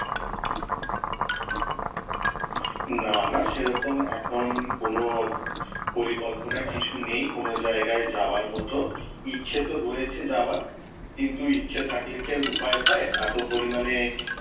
না না সেরকম এখন কোন পরিকল্পনা কিছু নেই, কোন জায়াগায় যাওয়ার মত। ইচ্ছে তো রয়েছে যাওয়ার, কিন্তু ইচ্ছে থাকলেই কি আর উপায় হয়? এতো পরিমাণে,